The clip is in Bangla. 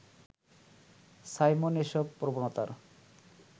সাইমন এসব প্রবণতার